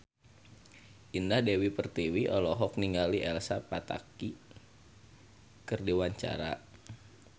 Indah Dewi Pertiwi olohok ningali Elsa Pataky keur diwawancara